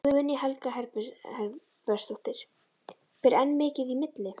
Guðný Helga Herbertsdóttir: Ber enn mikið í milli?